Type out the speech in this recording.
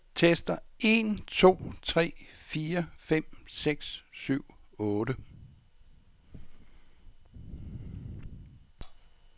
Tester en to tre fire fem seks syv otte.